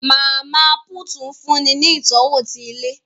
Mama put nfunni ní itọwo ti ilé